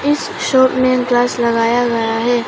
इस शॉप में ग्लास लगाया गया हैं।